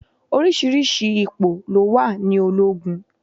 Oríṣiríṣi ipò ló wà ní ológun.